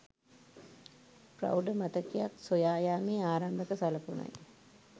ප්‍රෞඪ මතකයක් සොයා යාමේ ආරම්භක සලකුණයි